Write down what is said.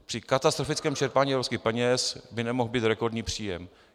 Při katastrofickém čerpání evropských peněz by nemohl být rekordní příjem.